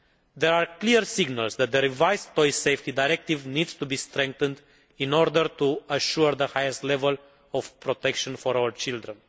There are clear signals that the revised Toy Safety Directive needs to be strengthened in order to assure the highest level of protection for our children.